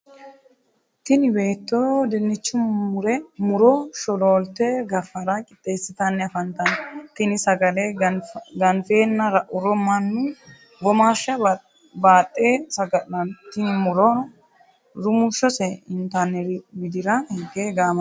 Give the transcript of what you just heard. Tinni beetto dinnichu muro sholoolte gafara qixeesitanni afantanno. Tinni sagale ganfeenna ra'uro mannu womaasha baaxe saga'lanno. Tinni murono rumushose intanniri widira hige gaamantano.